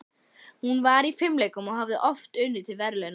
Hún var í fimleikum og hafði oft unnið til verðlauna.